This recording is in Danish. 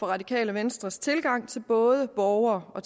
radikale venstres tilgang til både borgere og